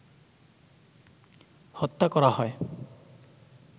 হত্যা করা হয়।